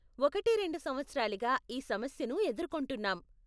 ఒకటి రెండు సంవత్సరాలుగా ఈ సమస్యను ఎదుర్కొంటున్నాం.